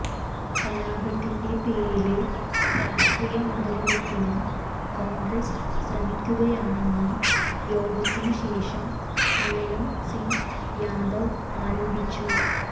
കലാപത്തിന്റെ പേരില് രാഷ്ട്രീയ മുതലെടുപ്പിന് കോണ്ഗ്രസ് ശ്രമിക്കുകയാണെന്ന് യോഗത്തിനു ശേഷം മുലയം സിംഗ് യാദവ് ആരോപിച്ചു